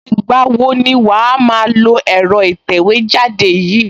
Ìgbà wo ni wàá máa lo ẹ̀rọ ìtẹ̀wẹ́jáde yìí?